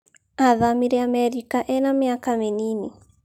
athamĩre Amerika ena mĩaka mĩnini